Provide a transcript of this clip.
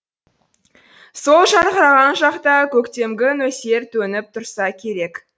сол жарқыраған жақта көктемгі нөсер төніп тұрса керек